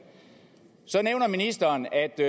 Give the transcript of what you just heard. så nævner ministeren at det